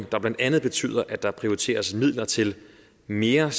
der blandt andet betyder at der prioriteres midler til mere